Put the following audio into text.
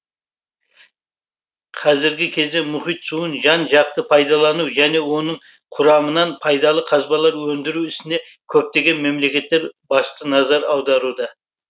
қазіргі кезде мұхит суын жан жақты пайдалану және оның құрамынан пайдалы қазбалар өндіру ісіне көптеген мемлекеттер басты назар аударуда